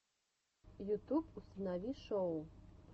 ютуб установи шоу